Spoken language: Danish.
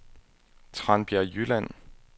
Tranbjerg Jylland